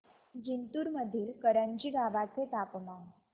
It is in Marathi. जिंतूर मधील करंजी गावाचे तापमान